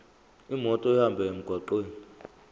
imoto ihambe emgwaqweni